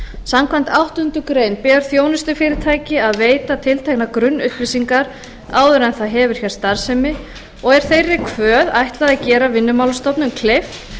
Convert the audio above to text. samkvæmt áttundu grein ber þjónustufyrirtæki að veita tilteknar grunnupplýsingar áður en það hefur hér starfsemi og er þeirri kvöð ætlað að gera vinnumálastofnun kleift